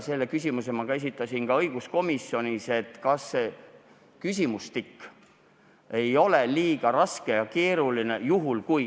Selle küsimuse ma esitasin ka õiguskomisjonis: kas see küsimustik ei ole liiga raske ja keeruline?